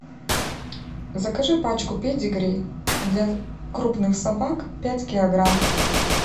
закажи пачку педигри для крупных собак пять килограмм